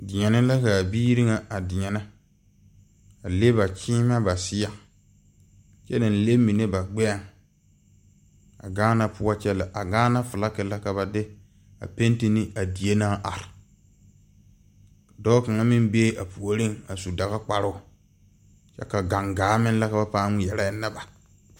Deɛne la ka a biiri nga a deɛne a le ba gyiimɛ kye nang le minne ba gbeɛɛ a Gaana poɔ kye lɛ a Gaana flag la ka ba de a penti ne a die nang arẽ doɔ kanga meng bee a poɔring a su dagakparoo kye ka gangaa meng lɛ ka ba pãã ngmeɛra enna ba.